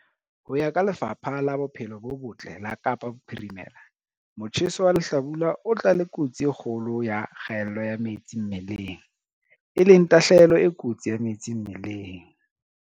Ho ya ka Lefapha la Bophelo bo Botle la Kapa Bophirimela, motjheso wa lehlabula o tla le kotsi e kgolo ya kgaello ya metsi mmeleng, e leng tahlehelo e kotsi ya metsi mmeleng.